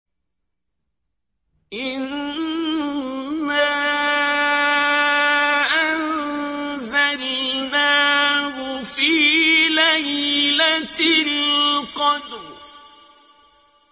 إِنَّا أَنزَلْنَاهُ فِي لَيْلَةِ الْقَدْرِ